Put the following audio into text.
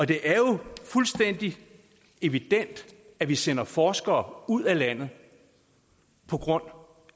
det er jo fuldstændig evident at vi sender forskere ud af landet på grund